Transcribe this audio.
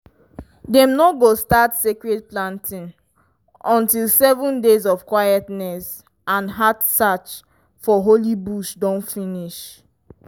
dem no go start sacred planting until seven days of quietness and heart search for holy bush don finish.